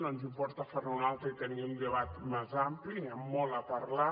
no ens importa fer ne un altre i tenir un debat més ampli amb molt a parlar